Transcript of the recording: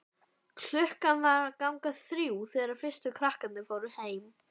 Klukkan var að ganga þrjú þegar fyrstu krakkarnir fóru heim.